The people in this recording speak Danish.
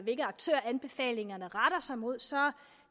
hvilke aktører anbefalingerne retter sig mod